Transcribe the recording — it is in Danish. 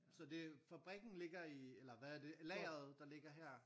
Så det fabrikken ligger i eller hvad er det lageret der ligger her?